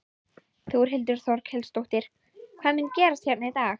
Þórhildur Þorkelsdóttir: Hvað mun gerast hérna í dag?